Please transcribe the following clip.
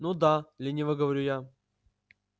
ну да лениво говорю я